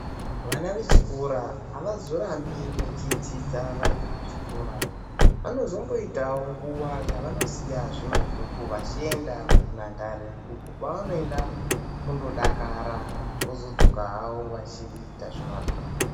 Vana vechikora avazorambi vechidzidza vari kuchikora, vanozomboitawo nguwa yevanosiya zvemabhuku vachienda kunhandare uko kwavanoenda kundodakara vozodzoka havo vachiita zvemabhuku.